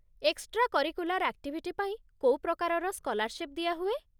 Extra curricular activity ପାଇଁ କୋଉ ପ୍ରକାରର ସ୍କଲାର୍ଶିପ୍ ଦିଆହୁଏ?